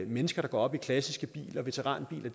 mennesker der går op i klassiske biler veteranbiler